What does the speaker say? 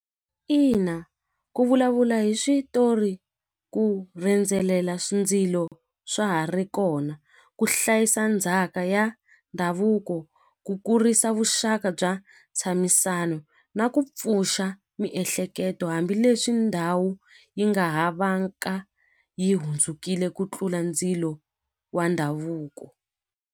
Ina ku vulavula hi switori ku ndzilo swa ha ri kona ku hlayisa ndzhaka ya ndhavuko ku kurisa vuxaka bya ntshamisano na ku pfuxa miehleketo hambileswi ndhawu yi nga ha vanga yi hundzukile ku tlula ndzilo wa ndhavuko.